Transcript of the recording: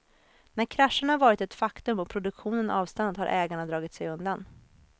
När krascherna varit ett faktum och produktionen avstannat har ägarna dragit sig undan.